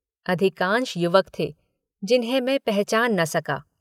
अधिकांश युवक थे जिन्हें मै पहचान न सका।